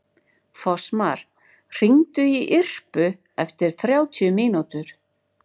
Fossmar, hringdu í Irpu eftir þrjátíu mínútur.